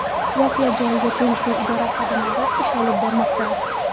Voqea joyida tegishli idora xodimlari ish olib bormoqda.